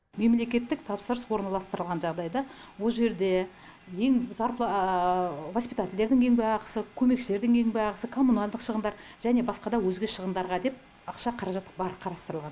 мемлекеттік тапсырыс орналастырылған жағдайда ол жерде воспитательдердің еңбекақысы көмекшілердің еңбекақысы коммуналдық шығындар және басқа да өзге шығындарға деп ақша қаражат бар қарастырылған